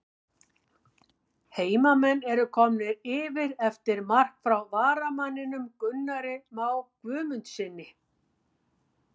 HEIMAMENN ERU KOMNIR YFIR EFTIR MARK FRÁ VARAMANNINUM GUNNARI MÁ GUÐMUNDSSYNI!!